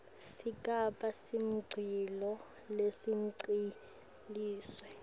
sigaba samondliwa lesigcwalisiwe